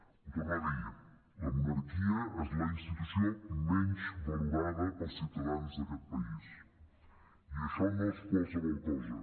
ho torno a dir la monarquia és la institució menys valorada pels ciutadans d’aquest país i això no és qualsevol cosa